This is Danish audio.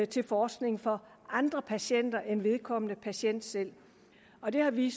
til forskning for andre patienter end vedkommende patient selv og det har vi